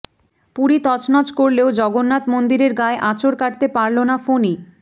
পুরী তছনছ করলেও জগন্নাথ মন্দিরের গায়ে আঁচড় কাটতে পারল না ফণি